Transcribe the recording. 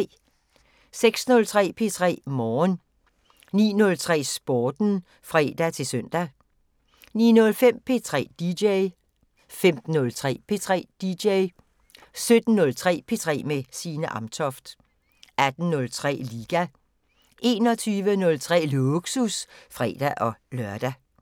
06:03: P3 Morgen 09:03: Sporten (fre-søn) 09:05: P3 DJ 15:03: P3 DJ 17:03: P3 med Signe Amtoft 18:03: LIGA 21:03: Lågsus (fre-lør)